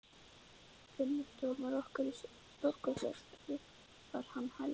Vinnustofurnar okkar eru stórkostlegar skrifar hann Helga.